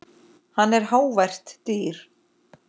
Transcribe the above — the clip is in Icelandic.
Hann er hávært dýr.